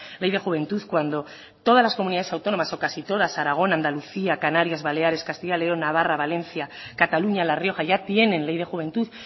ley de juventud cuando todas las comunidades autónomas o casi todas aragón andalucía canarias baleares castilla y león navarra valencia cataluña la rioja ya tienen ley de juventud